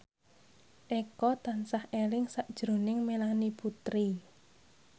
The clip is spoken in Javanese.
Eko tansah eling sakjroning Melanie Putri